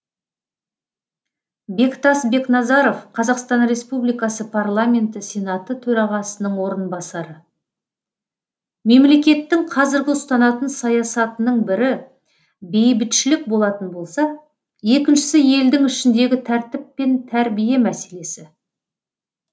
бектас бекназаров қазақстан республикасы парламенті сенаты төрағасының орынбасары мемлекеттің қазіргі ұстанатын саясатының бірі бейбітшілік болатын болса екіншісі елдің ішіндегі тәртіп пен тәрбие мәселесі